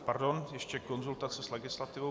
Pardon, ještě konzultace s legislativou.